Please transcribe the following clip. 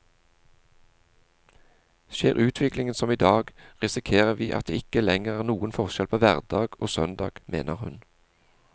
Skjer utviklingen som i dag, risikerer vi at det ikke lenger er noen forskjell på hverdag og søndag, mener hun.